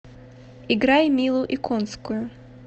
играй милу иконскую